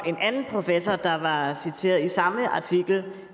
en anden professor der var citeret i samme artikel